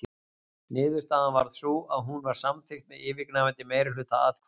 Niðurstaðan varð sú að hún var samþykkt með yfirgnæfandi meirihluta atkvæða.